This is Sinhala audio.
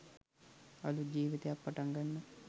අලුත් ජීවිතයක් පටන් ගන්න